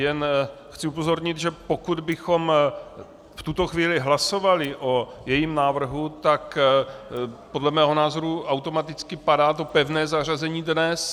Jen chci upozornit, že pokud bychom v tuto chvíli hlasovali o jejím návrhu, tak podle mého názoru automaticky padá to pevné zařazení dnes.